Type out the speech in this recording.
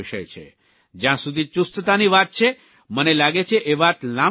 જયાં સુધી ચુસ્તતાની વાત છે મને લાગે છે એ વાત લાંબી થઇ જશે